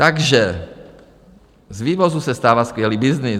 Takže z vývozu se stává skvělý byznys.